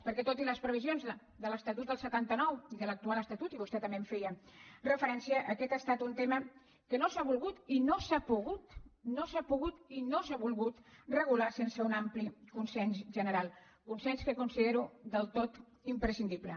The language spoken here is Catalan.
perquè tot i les previsions de l’estatut del setanta nou i de l’actual estatut i vostè també en feia referència aquest ha estat un tema que no s’ha volgut i no s’ha pogut no s’ha pogut i no s’ha volgut regular sense un ampli consens general consens que considero del tot imprescindible